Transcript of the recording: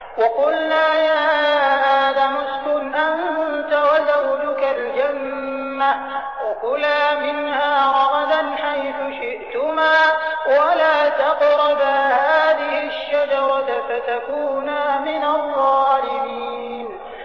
وَقُلْنَا يَا آدَمُ اسْكُنْ أَنتَ وَزَوْجُكَ الْجَنَّةَ وَكُلَا مِنْهَا رَغَدًا حَيْثُ شِئْتُمَا وَلَا تَقْرَبَا هَٰذِهِ الشَّجَرَةَ فَتَكُونَا مِنَ الظَّالِمِينَ